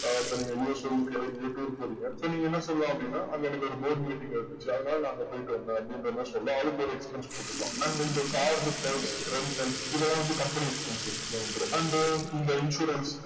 ஆஹ் இப்போ நீங்க relation க்கு எங்கயோ tour போரிங்க so நீங்க என்ன சொல்லலா அப்டின்னா அங்க எனக்கு ஒரு board meeting இருந்துச்சு அதுனால னா அங்க போயிட்டு வந்தேன் அப்டின்ற மாறி சொல்லா அதுக்கு ஒரு expense போட்டுக்கலாம் and இந்த car retail prices இதுலா வந்து company expenses ல வந்துரும் and இந்த insurance